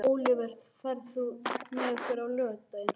Ólíver, ferð þú með okkur á laugardaginn?